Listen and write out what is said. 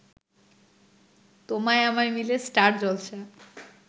তোমায় আমায় মিলে স্টার জলসা